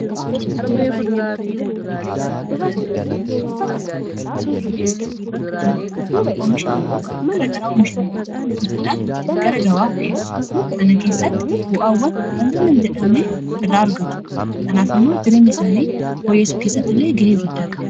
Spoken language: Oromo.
waaqiintaawawwanii fi butika iddoo kana daddaltoota hedduut argama kunninis namoota omisha garagaraa oomisha irraa bituudhaan gara gawaaf dhi'eessu kana keessatti bu'aawwan hanga nam jedhamne irraa argatu kanaaf immoo jireen isaanii hooyyeesso keessatti illee ga'ee guddaa qaba